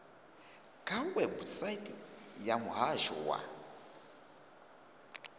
kha website ya muhasho wa